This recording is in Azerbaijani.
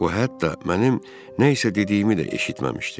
O hətta mənim nə isə dediyimi də eşitməmişdi.